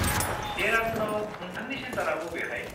देरादुनाव नोंथांनि चेन्टारा बबेहाय?